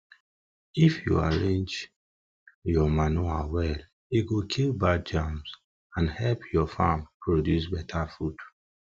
if you arrange your manure well e go kill bad germs and help your farm produce beta food